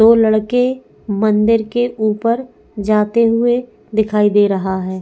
दो लड़के मंदिर के ऊपर जाते हुए दिखाई दे रहा है।